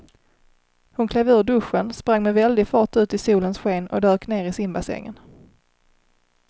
Hon klev ur duschen, sprang med väldig fart ut i solens sken och dök ner i simbassängen.